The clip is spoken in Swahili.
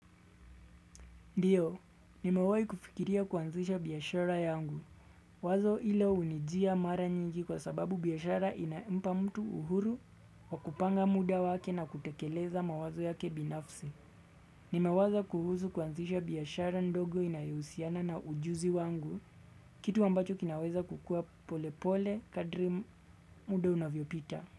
Ndiyo, nimewai kufikiria kuanzisha biashara yangu. Wazo hilo hunijia mara nyingi kwa sababu biashara inampa mtu uhuru wa kupanga muda wake na kutekeleza mawazo yake binafsi. Nimewaza kuhusu kuanzisha biashara ndogo inayohusiana na ujuzi wangu, kitu ambacho kinaweza kukua polepole kadri muda unavyopita.